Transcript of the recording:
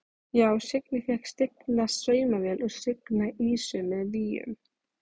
Já: Signý fékk stigna saumavél og signa ýsu með víum.